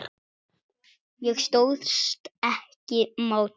Ég stóðst ekki mátið